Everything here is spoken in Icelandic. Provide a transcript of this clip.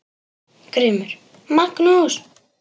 GRÍMUR: Magnús!